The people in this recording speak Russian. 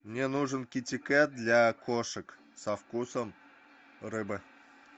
мне нужен китикет для кошек со вкусом рыбы